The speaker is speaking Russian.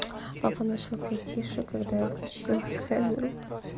папа начал петь тиши когда я включила камеру